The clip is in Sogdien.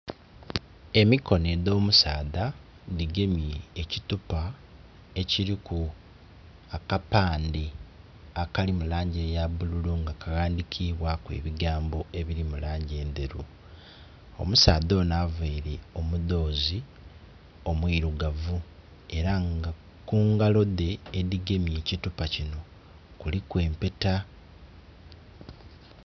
Emikono edh'omusaadha dhigemye ekitupa ekiriku kapandhe, akali mulangi yabululu nga kaghandhikiibwaku ebigambo ebiri mu langi enderu. Omusadha ono avaire omudhoozi omwirugavu era nga ku ngalodhe edhigemye ekitupa kino kuliku empeta.